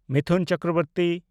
Mithun Chakraborty